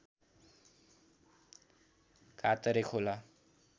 काँतरे खोला